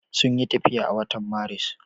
Sun yi tafiya a watan Maris.